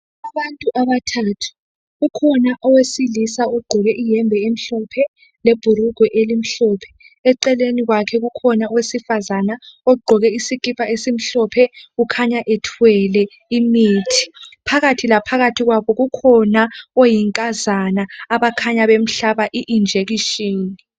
Abantu abathathu ukhona owesilisa ogqoke ihembe emhlophe lebhulugwe elimhlophe eceleni kwakhe kukhona owesifazana ogqoke isikipa esimhlophe kukhanya ethwele imithi. Phakathi laphakathi kwabo kukhona oyinkazana abakhanya bemhlaba ijekiseni.